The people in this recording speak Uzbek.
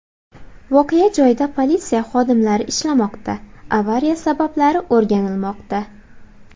Voqea joyida politsiya xodimlari ishlamoqda, avariya sabablari o‘rganilmoqda.